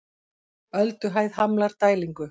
Ölduhæð hamlar dælingu